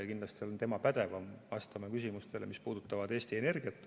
Kindlasti on tema pädevam vastama küsimustele, mis puudutavad Eesti Energiat.